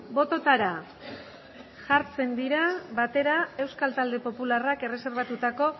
bototara jartzen dira batera euskal talde popularrak erreserbatutako